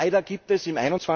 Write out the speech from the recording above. Leider gibt es im